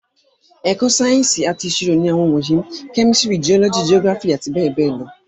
Ẹ̀kọ́ Sáyẹ́ǹsì ti ìṣirò ní àwọn wọ̀nyí, kẹ́mísìrì, jiọ́lọ́jì, jiógíráfì àti bẹẹbẹẹ lọ